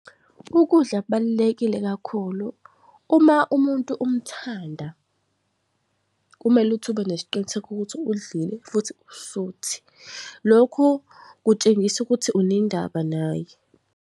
Ukudla kubalulekile kakhulu. Uma umuntu umthanda, kumele ukuthi ube nesiqiniseko ukuthi udlile futhi usuthi. Lokhu kutshengisa ukuthi unendaba naye.